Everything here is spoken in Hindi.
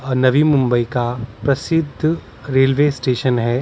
नवी मुंबई का प्रसिद्ध रेलवे स्टेशन हैं ।